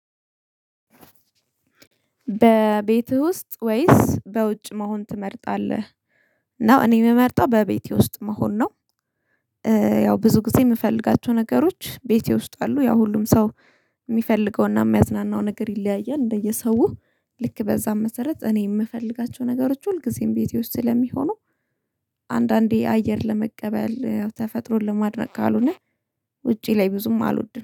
በቤትህ ውስጥ ወይስ በውጭ መሆን ትመርጣለህ? ነው እኔ የምመርጠው በቤቴ ውስጥ መሆን ነው። ያው ብዙ ጊዜ የምፈልጋቸው ነገሮች ቤቴ ውስጥ አሉ ያ ሁሉም ሰው። የሚፈልገውና የሚያዝናናው ነገር ይለያያል እንደየሰው ልክ በዚያ መሰረት እኔ የምፈልጋቸው ነገሮች ሁልጊዜም ቤቴ ውስጥ ስለሚሆኑ። አንዳንዴ አየር ለመቀበል ተፈጥሮ ለማድረግ ካልሆነ ውጪ ላይ ብዙም አልወድም